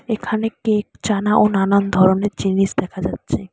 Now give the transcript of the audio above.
এখানে একটি জানা ও নানান ধরনের জিনিস দেখা যাচ্ছে।